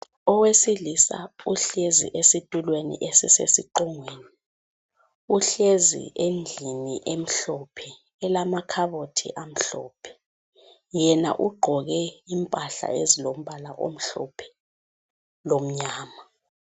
Owesilisa uhlezi esitulweni esisesiqongweni ,uhlezi endlini emhlophe ,elamakhabothi amhlophe. Yena ugqoke impahla ezilombala omhlophe lomnyama.